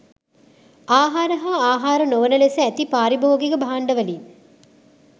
ආහාර හා ආහාර නොවන ලෙස ඇති පාරිභෝගික භාණ්ඩවලින්